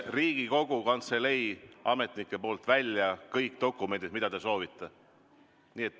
Riigikogu Kantselei ametnikud prindivad teile kõik dokumendid, mida te soovite.